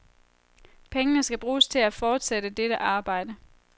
Pengene skal bruges til at fortsætte dette arbejde.